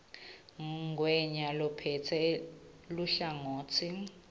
ngwenya lophetse luhlangotsi